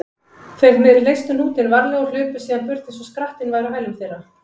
Þeir leystu hnútinn varlega og hlupu síðan burt eins og skrattinn væri á hælum þeirra.